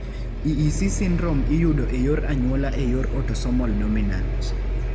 EEC syndrome iyudo e yor anyuola e yor autosomal dominant.